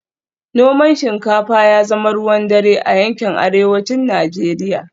Noman shinkafa ya zama ruwan dare a yankin Arewacin Najeriya